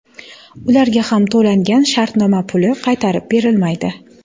Ularga ham to‘langan shartnoma puli qaytarib berilmaydi.